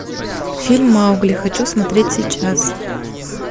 фильм маугли хочу смотреть сейчас